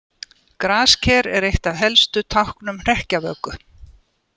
Grasker er eitt af helstu táknum hrekkjavöku.